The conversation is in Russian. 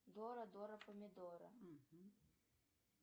дора дора помидора